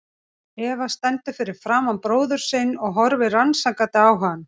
Eva stendur fyrir framan bróður sinn og horfir rannsakandi á hann.